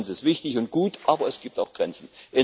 Transparenz ist wichtig und gut, aber es gibt auch Grenzen.